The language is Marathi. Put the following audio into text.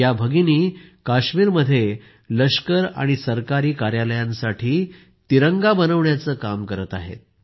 या भगिनी कश्मिरात लष्कर आणि सरकारी कार्यालयांसाठी तिरंगा शिवण्याचं काम करत आहेत